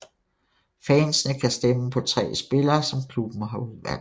Fansene kan stemme på tre spillere som klubben har udvalgt